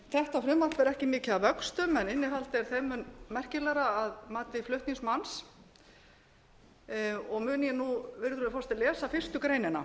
þetta frumvarp er ekki mikið að vöxtum en innihaldið er þeim mun merkilegra að mati flutningsmanns og mun ég nú virðulegur forseti lesa fyrstu greinina